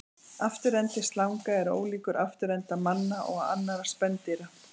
Afturendi slanga er ólíkur afturenda manna og annarra spendýra.